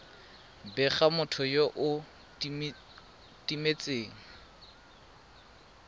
bega motho yo o timetseng